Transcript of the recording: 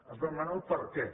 has de demanar el perquè